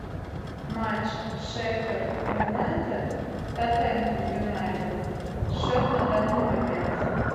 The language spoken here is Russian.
матч шеффилд юнайтед тоттенхэм юнайтед счет на данный момент